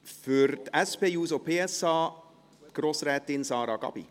Für die SP-JUSO-PSA, Grossrätin Sarah Gabi.